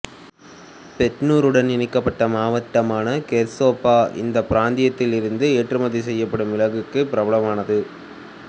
பெட்னூருடன் இணைக்கப்பட்ட மாவட்டமான கெர்சோப்பா இந்த பிராந்தியத்திலிருந்து ஏற்றுமதி செய்யப்படும் மிளகுக்கு பிரபலமானது